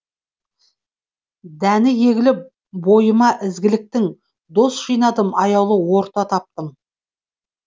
дәні егіліп бойыма ізгіліктің дос жинадым аяулы орта таптым